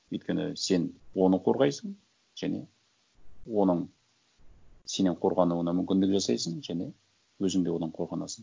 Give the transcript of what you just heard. өйткені сен оны қорғайсың және оның сенен қорғануына мүмкіндік жасайсың және өзің де одан қорғанасың